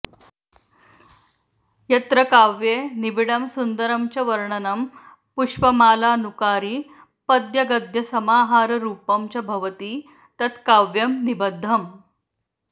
यत्र काव्ये निबिडं सुन्दरं च वर्णनं पुष्पमालानुकारिपद्यगद्यसमाहाररुपं च भवति तत्काव्यं निबध्दम्